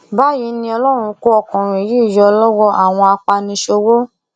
báyìí ni ọlọrun kó ọkùnrin yìí yọ lọwọ àwọn apaniṣòwò